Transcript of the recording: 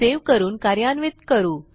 save करून कार्यान्वित करू